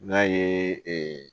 N'a ye